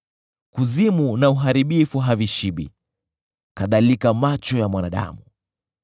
Kuzimu na Uharibifu havishibi kadhalika macho ya mwanadamu.